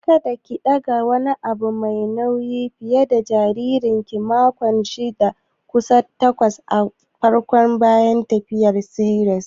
Kada ki ɗaga wani abu mai nauyi fiye dana jaririnku a makonni shida zuwa takwas na farko bayan tiyatar siserian!